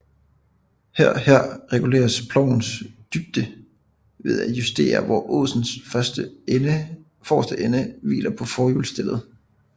Her her reguleres plovens dybde ved at justere hvor åsens forreste ende hviler på hjulforstellet